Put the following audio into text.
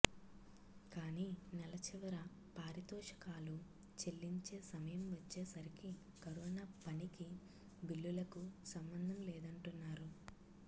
కానీ నెల చివర పారితోషికాలు చెల్లించే సమయం వచ్చేసరికి కరోనా పనికి బిల్లులకు సంబంధం లేదంటున్నారు